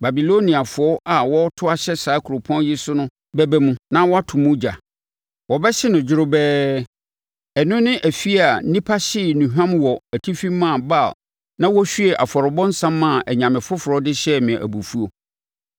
Babiloniafoɔ a wɔreto ahyɛ saa kuropɔn yi so no bɛba mu, na wɔato mu ogya; wɔbɛhye no dworobɛɛ, ɛno ne afie a nnipa hyee nnuhwam wɔ atifi maa Baal na wɔhwiee afɔrebɔ nsã maa anyame foforɔ de hyɛɛ me abufuo.